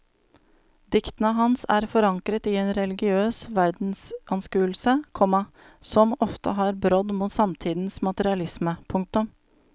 Diktene hans er forankret i en religiøs verdensanskuelse, komma som ofte har brodd mot samtidens materialisme. punktum